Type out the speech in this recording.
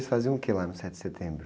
Vocês faziam o que lá no sete de setembro?